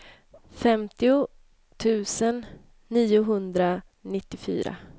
femtio tusen niohundranittiofyra